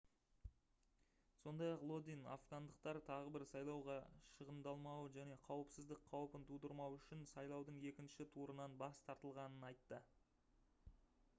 сондай-ақ лодин афгандықтар тағы бір сайлауға шығындалмауы және қауіпсіздік қаупін тудырмау үшін сайлаудың екінші турынан бас тартылғанын айтты